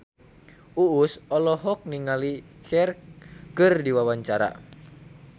Uus olohok ningali Cher keur diwawancara